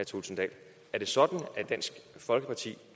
thulesen dahl er det sådan at dansk folkeparti